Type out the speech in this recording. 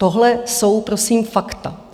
Tohle jsou prosím fakta.